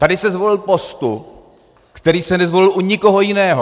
Tady se zvolil postup, který se nezvolil u nikoho jiného.